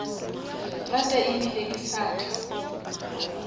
rata ebile ke sa tla